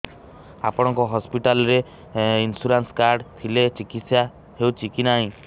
ଆପଣଙ୍କ ହସ୍ପିଟାଲ ରେ insurance card ଥିଲେ ଚିକିତ୍ସା ହେଉଛି କି ନାଇଁ